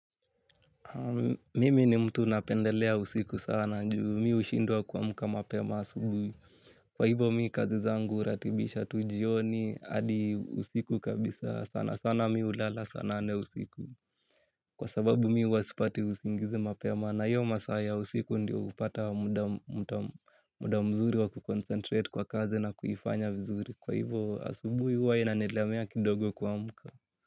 Mimi ni mtu napendelea usiku sana ju mimi hushindwa kuamka mapema asubuhi. Kwa hivo mimi kazi zangu huratibisha tujioni. Hadi usiku kabisa sana sana mi hulala saa nane usiku. Kwa sababu mi huwasipati usingizi mapema. Na hiyo masaa ya usiku ndio hupata muda mzuri wa kuconcentrate kwa kazi na kuifanya vizuri. Kwa hivo asubuhi huwa inanilemea kidogo kuamka.